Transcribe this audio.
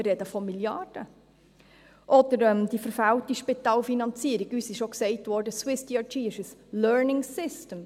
wir sprechen von Milliarden –, die verfehlte Spitalfinanzierung – uns wurde auch gesagt, SwissDRG sei ein Learning System;